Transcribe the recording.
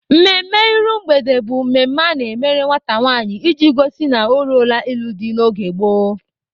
Mmemme iru mgbede bụ mmemme a na-emere nwata nwanyị iji gosi na o ruola ịlụ di n'oge gboo.